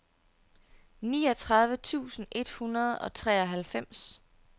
niogtredive tusind et hundrede og treoghalvfems